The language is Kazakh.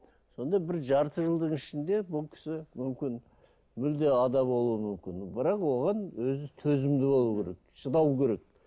сонда бір жарты жылдың ішінде бұл кісі мүмкін мүлде ада болуы мүмкін бірақ оған өзі төзімді болу керек шыдау керек